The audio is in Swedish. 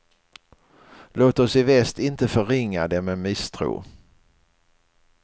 Låt oss i väst inte förringa den med misstro.